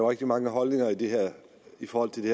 rigtig mange holdninger i forhold til det